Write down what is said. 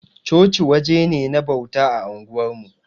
Chochi waje ne na bauta a unguwarmu.